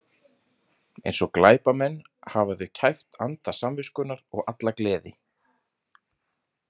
Eins og glæpamenn hafa þau kæft anda samviskunnar og alla gleði.